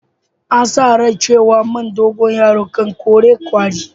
An sa rai cewa man dogoyaro kan kore kwari.